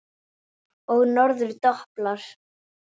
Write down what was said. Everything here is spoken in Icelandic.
Og norður doblar.